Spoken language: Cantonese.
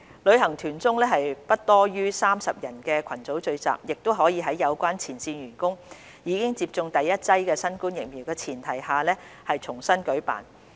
旅行團中不多於30人的群組聚集，亦可在有關前線員工已經接種第一劑新冠疫苗的前提下重新舉辦。